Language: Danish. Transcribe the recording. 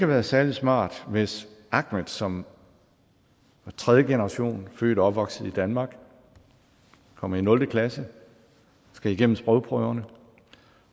været særlig smart hvis ahmed som er tredjegenerationsindvandrer opvokset i danmark og kommer i nul klasse skal igennem sprogprøverne